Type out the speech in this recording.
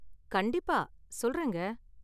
கண்டிப்பா, சொல்றேங்க.